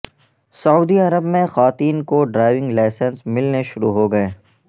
سعودی Arab میں خواتین کو ڈرائیونگ لائسنس ملنے شروع ہو گئے